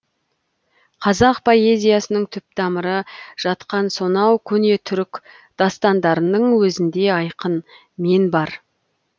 қазақ поэзиясының түп тамыры жатқан сонау көне түрік дастандарының өзінде айқын мен бар